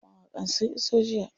Mawaƙan sun iso jiya.